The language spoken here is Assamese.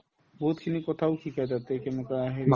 বহুতখিনি কথাও শিকাই তাতে কেনেকুৱা হেৰি